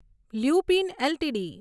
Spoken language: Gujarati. લ્યુપિન એલટીડી